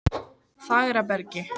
Fagrabergi